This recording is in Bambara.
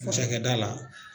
Cakɛda la.